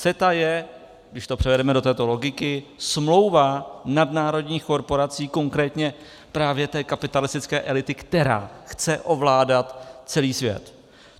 CETA je, když to převedeme do této logiky, smlouva nadnárodních korporací, konkrétně právě té kapitalistické elity, která chce ovládat celý svět.